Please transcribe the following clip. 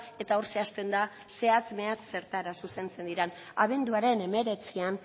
eta hor zehazten da zehatz mehatz zertara zuzentzen diren abenduaren hemeretzian